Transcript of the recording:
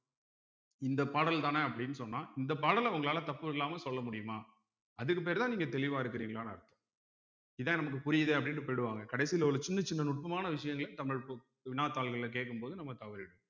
இந்த பாடல்தானே அப்படின்னு சொன்னா இந்த பாடல உங்களால தப்பு இல்லாம சொல்ல முடியுமா அதுக்கு பேர் தான் நீங்க தெளிவா இருக்குறீங்களான்னு அர்த்தம் இதான் நமக்கு புரியுதே அப்படின்னுட்டு போயிடுவாங்க கடைசியில உள்ள சின்ன சின்ன நுட்பமான விஷயங்கள தமிழ் புக் வினாத்தாள்கள்ல கேட்கும்போது நம்ம தவறிடுவோம்